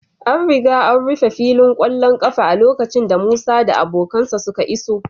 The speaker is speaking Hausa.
An riga an rufe filin ƙwallon ƙafa a lokacin da Musa da abokansa suka iso